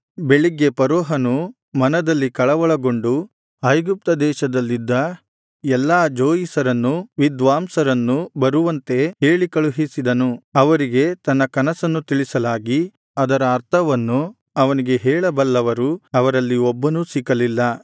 ಬೆಳಿಗ್ಗೆ ಫರೋಹನು ಮನದಲ್ಲಿ ಕಳವಳಗೊಂಡು ಐಗುಪ್ತದೇಶದಲ್ಲಿದ್ದ ಎಲ್ಲಾ ಜೋಯಿಸರನ್ನೂ ವಿದ್ವಾಂಸರನ್ನೂ ಬರುವಂತೆ ಹೇಳಿಕಳುಹಿಸಿದನು ಅವರಿಗೆ ತನ್ನ ಕನಸನ್ನು ತಿಳಿಸಲಾಗಿ ಅದರ ಅರ್ಥವನ್ನು ಅವನಿಗೆ ಹೇಳ ಬಲ್ಲವರು ಅವರಲ್ಲಿ ಒಬ್ಬನೂ ಸಿಕ್ಕಲಿಲ್ಲ